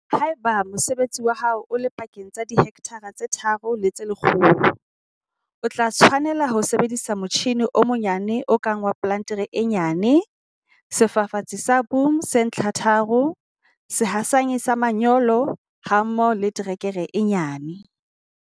Ha eba mosebetsi wa hao o le pakeng tsa dihekthara tse tharo le tse lekgolo, o tla tshwanela ho sebedisa motjhine o monyane o kang wa plantere e nyane, sefafatsi sa boom se ntlhatharo, sehasanyi sa manyolo hammoho le terekere e nyane.